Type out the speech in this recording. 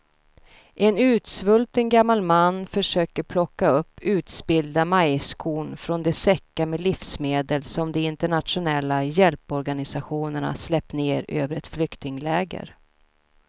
En utsvulten gammal man försöker plocka upp utspillda majskorn från de säckar med livsmedel som de internationella hjälporganisationerna släppt ner över ett flyktingläger.